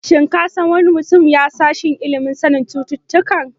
Shin ka san wani mutum ya sashen ilimin sanin cututtuka?